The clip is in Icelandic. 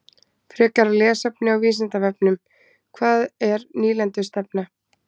Frekara lesefni á Vísindavefnum: Hvað er nýlendustefna?